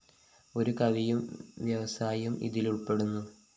ഒരു കവിയും വ്യവസായിയും ഇതിലുള്‍പ്പെടുന്നു